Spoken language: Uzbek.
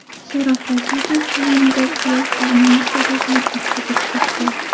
Sharof Rashidov tumanida sel qoramol podasini oqizib ketdi .